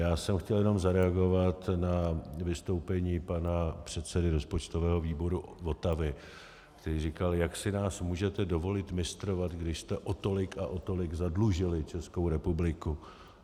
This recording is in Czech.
Já jsem chtěl jenom zareagovat na vystoupení pana předsedy rozpočtového výboru Votavy, který říkal: jak si nás můžete dovolit mistrovat, když jste o tolik a o tolik zadlužili Českou republiku?